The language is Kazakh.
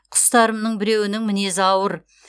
құстарымның біреуінің мінезі ауыр